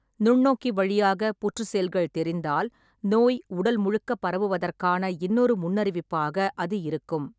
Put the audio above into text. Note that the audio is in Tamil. நுண்ணோக்கி வழியாக புற்று செல்கள் தெரிந்தால், நோய் உடல்முழுக்கப் பரவுவதற்கான இன்னொரு முன்னறிவிப்பாக அது இருக்கும்.